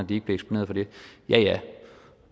bliver eksponeret for det ja ja